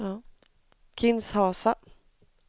Kinshasa